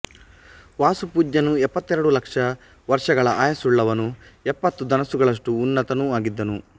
ವಾಸುಪೂಜ್ಯನು ಎಪ್ಪತ್ತೆರಡು ಲಕ್ಷ ವರ್ಷಗಳ ಆಯಸ್ಸುಳ್ಳವನೂ ಎಪ್ಪತ್ತು ಧನಸ್ಸುಗಳಷ್ಟು ಉನ್ನತನೂ ಆಗಿದ್ದನು